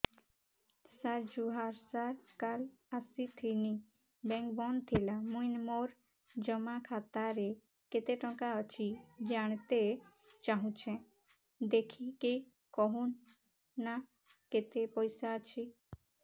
ସାର ଜୁହାର ସାର କାଲ ଆସିଥିନି ବେଙ୍କ ବନ୍ଦ ଥିଲା ମୁଇଁ ମୋର ଜମା ଖାତାରେ କେତେ ଟଙ୍କା ଅଛି ଜାଣତେ ଚାହୁଁଛେ ଦେଖିକି କହୁନ ନା କେତ ପଇସା ଅଛି